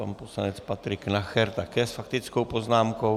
Pan poslanec Patrik Nacher také s faktickou poznámkou.